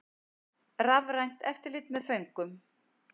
Rafrænt eftirlit með föngum